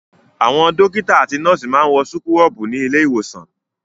Àwọn dọ́kítá àti nọ́ọ́sì máa ń wọ súkúrọ́bù ní ilé-ìwòsàn.